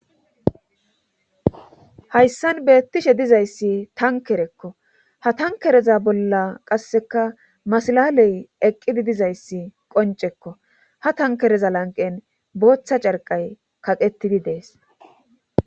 hayssan beettishe dizayssi tankerekko ha tankereza bolla qasseka masalaley eqqidi dizayssi qoncekko ha tankereza lanqen booththa carqay kaqettidi dees